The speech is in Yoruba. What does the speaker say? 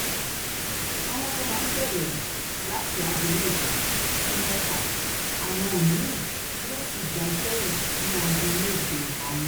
àwọn kan máa bẹ̀rẹ̀ láti aago mẹ́jọ sí mẹ́fà àwọn mi-ín yóò sì gba iṣẹ́ yìí ní aago méje alẹ́